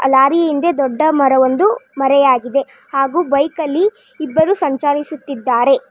ಆ ಲಾರಿ ಹಿಂದೆ ದೊಡ್ಡ ಮರ ಒಂದು ಮರೆಯಾಗಿದೆ ಹಾಗು ಬೈಕಲ್ಲಿ ಇಬ್ಬರು ಸಂಚಾರಿಸುತ್ತಿದ್ದಾರೆ.